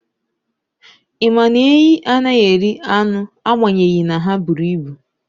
Ị ma na enyí anaghị eri anụ agbanyeghị na ha buru ibu.